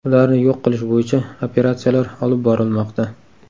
Ularni yo‘q qilish bo‘yicha operatsiyalar olib borilmoqda.